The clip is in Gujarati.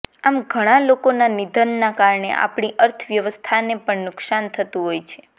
આમ ઘણાં લોકોના નિધનના કારણે આપણી અર્થવ્યવસ્થાને પણ નુકસાન થતું હોય છે